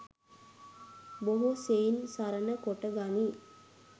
බොහෝ සෙයින් සරණ කොට ගනී.